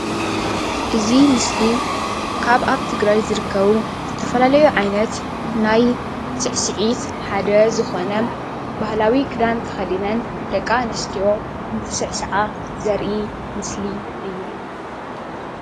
እዚ ምስሊ ካብ ኣብ ትግራይ ዝርከቡ ዝተፈላለዩ ዓይነት ናይ ስዕስዒት ሓደ ዝኮነ ባህላዊ ክዳን ተከዲነን ደቂ ኣንስትዮ እንትስዕስዓ ዘርኢ ምስሊ እዩ፡፡